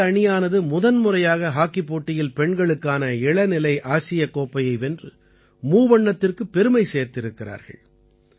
பாரத அணியானது முதன்முறையாக ஹாக்கிப் போட்டியில் பெண்களுக்கான இளநிலை ஆசியக் கோப்பையை வென்று மூவண்ணத்திற்குப் பெருமை சேர்த்திருக்கிறார்கள்